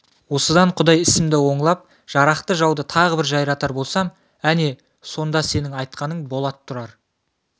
осыдан құдай ісімді оңлап жарақты жауды тағы бір жайратар болсам әне сонда сенің айтқаның болад тұрар